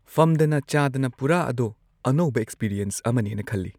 ꯐꯝꯗꯅ ꯆꯥꯗꯅ ꯄꯨꯔꯥ ꯑꯗꯣ ꯑꯅꯧꯕ ꯑꯦꯛꯁꯄꯤꯔꯤꯑꯦꯟꯁ ꯑꯃꯅꯦꯅ ꯈꯜꯂꯤ